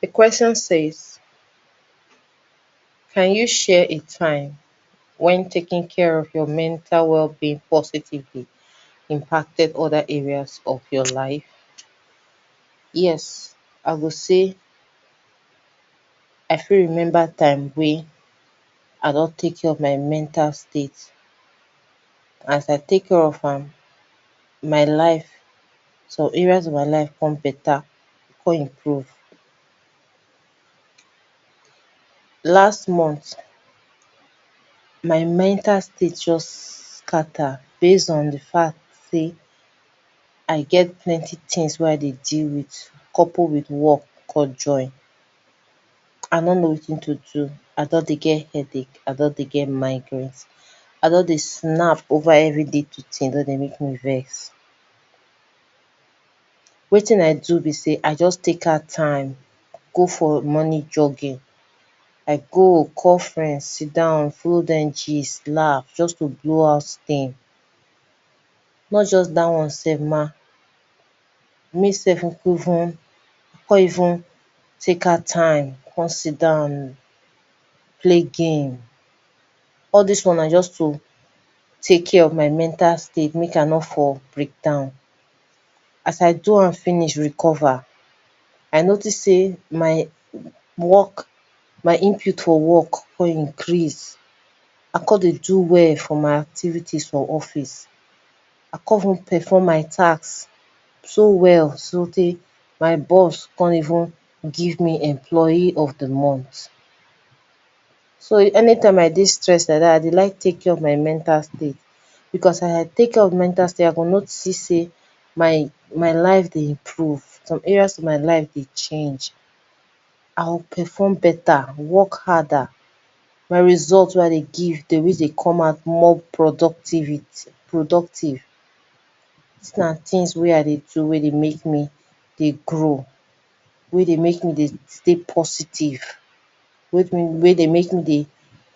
Di questions says, can you share a time wen taking care of your mental wellbeing positively imparted oda areas of your life? Yes I go say I fit remember time wey I don take care of my mental state, as I take care of am, my life, some areas of my life come better, come improve. Last month my mental state just scatter based on di fact sey I get plenty things wey I dey deal with, couple with work come join, I nor know wetin to do I don dey get headache, I don de get migraines I don dey snap over every little thing don dey make me vex. Wetin I do be sey, I just take out time go for morning jogging, I go call friends sit down, follow dem gist laugh just to do out things, not just dat one sef ma, me sef come even don even take out time, come sit down play game, all dis one na just to take care of my mental state make I nor for breakdown. As I do am finish recover, I notice sey my work, my input for work come increase, I come dey do well for my activities for office, I come even perform my task so well, so tey my boss come even give me di employee of di month. So anytime I dey stressed like dat I dey like take care of my mental state, because if I take care of my mental state, I go notice sey my my life dey improve. Some areas in my life dey change, I go perform better, work harder, my result wey I dey give dey always dey come out, more productivity productive. Dis na things wey I dey do make ne dey grow, wey dey make me dey stay positive, make me wey dey make me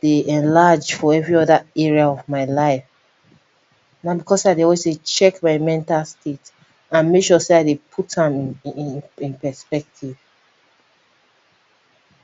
dey enlarge for very other area of my life, na because sey I dey always dey check my mental state and make sure sey I dey always dey put am in perspective.